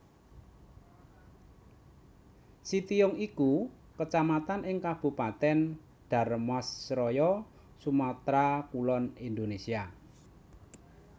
Sitiung iku Kecamatan ing Kabupatèn Dharmasraya Sumatra Kulon Indonesia